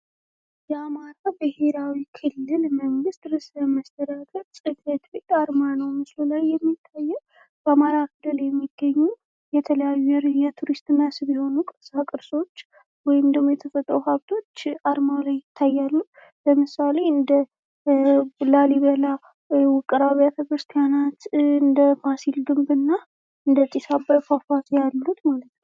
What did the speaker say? የአማራ ብሔራዊ ክልል መንግስት ርዕሰ መስተዳደር ጽ/ቤት አርማ ነዉ ምስሉ ላይ የሚታየዉ። በአማራ ክልል የሚገኙ የተለያዩ የቱሪስት መስህብ የሆኑ ቅርሳቅርሶች ወይም ደግሞ የተፈጥሮ ኃብቶች አርማዉ ላይ የሚታዩት። ለምሳሌ:- እንደ ላሊበላ ዉቅር አብያተ ክርስትያናት ፣ እንደ ፋሲል ግንብ እና እንደ ጢስ ዓባይ ፏፏቴ ያሉት ማለት ነዉ።